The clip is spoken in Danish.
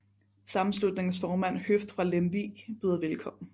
Sammenslutningens formand Høft fra Lemvig byder velkommen